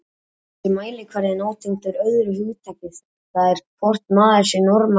Þessi mælikvarði er nátengdur öðru hugtaki, það er hvort maður sé normal eða ekki.